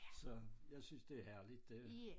Så jeg synes det herligt det